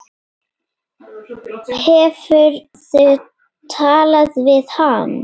Hefurðu talað við hann?